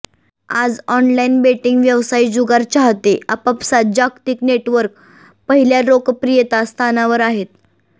आज online betting व्यवसाय जुगार चाहते आपापसांत जागतिक नेटवर्क पहिल्या लोकप्रियता स्थानावर आहेत